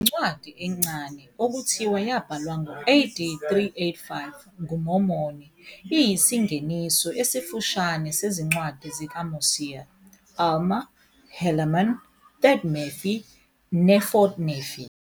Le ncwadi encane, okuthiwa yabhalwa ngo-AD 385 nguMormoni, iyisingeniso esifushane sezincwadi zikaMosiah, Alma, Helaman, Third Nephi, neFourth Nephi.